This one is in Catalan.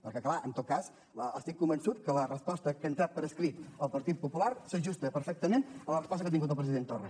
perquè clar en tot cas estic convençut que la resposta que ha entrat per escrit el partit popular s’ajusta perfectament a la resposta que ha tingut del president torra